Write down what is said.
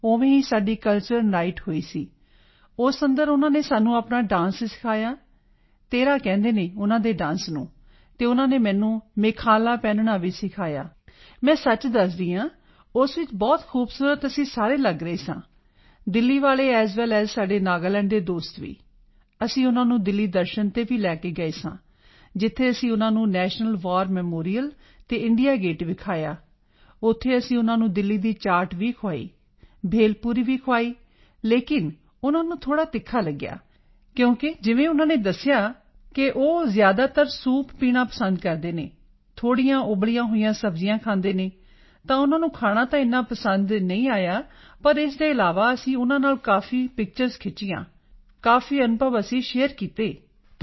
ਉਵੇਂ ਹੀ ਸਾਡੀ ਕਲਚਰਲ ਨਾਈਟ ਹੋਈ ਸੀ ਉਸ ਅੰਦਰ ਉਨ੍ਹਾਂ ਨੇ ਸਾਨੂੰ ਆਪਣਾ ਡਾਂਸ ਸਿਖਾਇਆ ਤੇਹਰਾ ਕਹਿੰਦੇ ਹਨ ਉਨ੍ਹਾਂ ਦੇ ਡਾਂਸ ਨੂੰ ਅਤੇ ਉਨ੍ਹਾਂ ਨੇ ਮੈਨੂੰ ਮੇਖਾਲਾ ਮੇਖੇਲਾ ਪਹਿਨਣਾ ਵੀ ਸਿਖਾਇਆ ਮੈਂ ਸੱਚ ਦੱਸਦੀ ਹਾਂ ਉਸ ਵਿੱਚ ਬਹੁਤ ਖੂਬਸੂਰਤ ਅਸੀਂ ਸਾਰੇ ਲਗ ਰਹੇ ਸਾਂ ਦਿੱਲੀ ਵਾਲੇ ਏਐੱਸ ਵੇਲ ਏਐੱਸ ਸਾਡੇ ਨਾਗਾਲੈਂਡ ਦੇ ਦੋਸਤ ਵੀ ਅਸੀਂ ਉਨ੍ਹਾਂ ਨੂੰ ਦਿੱਲੀ ਦਰਸ਼ਨ ਤੇ ਵੀ ਲੈ ਕੇ ਗਏ ਸਾਂ ਜਿੱਥੇ ਅਸੀਂ ਉਨ੍ਹਾਂ ਨੂੰ ਨੈਸ਼ਨਲ ਵਾਰ ਮੈਮੋਰੀਅਲ ਅਤੇ ਇੰਡੀਆ ਗੇਟ ਵਿਖਾਇਆ ਉੱਥੇ ਅਸੀਂ ਉਨ੍ਹਾਂ ਨੂੰ ਦਿੱਲੀ ਦੀ ਚਾਟ ਵੀ ਖਵਾਈ ਭੇਲਪੁਰੀ ਵੀ ਖਵਾਈ ਲੇਕਿਨ ਉਨ੍ਹਾਂ ਨੂੰ ਥੋੜ੍ਹਾ ਤਿੱਖਾ ਲਗਿਆ ਕਿਉਂਕਿ ਜਿਵੇਂ ਉਨ੍ਹਾਂ ਨੇ ਦੱਸਿਆ ਸਾਨੂੰ ਕਿ ਉਹ ਜ਼ਿਆਦਾਤਰ ਸੌਪ ਪੀਣਾ ਪਸੰਦ ਕਰਦੇ ਹਨ ਥੋੜ੍ਹੀਆਂ ਉਬਲੀਆਂ ਹੋਈਆਂ ਸਬਜ਼ੀਆਂ ਖਾਂਦੇ ਹਨ ਤਾਂ ਉਨ੍ਹਾਂ ਨੂੰ ਖਾਣਾ ਤਾਂ ਏਨਾ ਪਸੰਦ ਨਹੀਂ ਆਇਆ ਪਰ ਉਸ ਦੇ ਇਲਾਵਾ ਅਸੀਂ ਉਨ੍ਹਾਂ ਨਾਲ ਕਾਫੀ picturesਖਿੱਚੀਆਂ ਕਾਫੀ ਅਨੁਭਵ ਅਸੀਂ ਸ਼ੇਅਰ ਕੀਤੇ ਆਪਣੇ